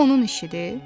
Bu onun işidir?